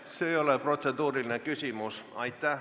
See ei ole protseduuriline küsimus.